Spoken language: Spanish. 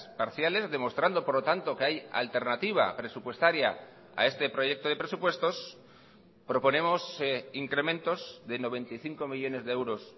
parciales demostrando por lo tanto que hay alternativa presupuestaria a este proyecto de presupuestos proponemos incrementos de noventa y cinco millónes de euros